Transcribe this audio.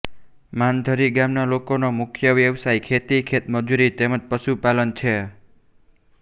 માનધરી ગામના લોકોનો મુખ્ય વ્યવસાય ખેતી ખેતમજૂરી તેમ જ પશુપાલન છે